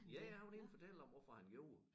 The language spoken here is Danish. Ja ja han var inde og fortælle hvorfor han gjorde det